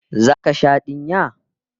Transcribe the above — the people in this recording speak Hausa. Zaka sha dinya?